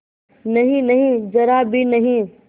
नहींनहीं जरा भी नहीं